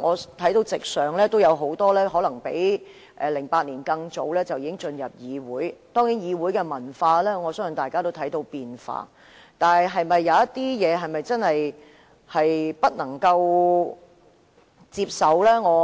我看到席上有很多可能比2008年更早進入議會的議員，我相信大家都看到議會文化正在轉變，但有些事情是否真的令人無法接受？